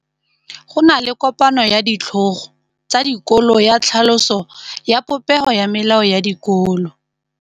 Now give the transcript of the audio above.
Go na le kopanô ya ditlhogo tsa dikolo ya tlhaloso ya popêgô ya melao ya dikolo.